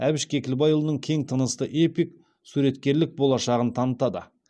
әбіш кекілбайұлының кең тынысты эпик суреткерлік болашағын танытады